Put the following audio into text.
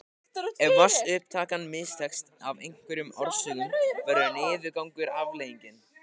Ef vatnsupptakan mistekst af einhverjum orsökum verður niðurgangur afleiðingin.